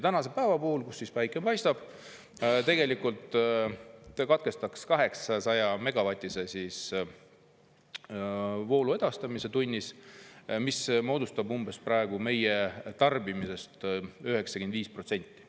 Tänase päeva puhul, kui päike paistab, see katkestaks 800‑megavatise voolu edastamise tunnis, mis moodustab meie praegusest tarbimisest umbes 95%.